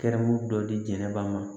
Kɛrɛmu dɔ diinɛ ba ma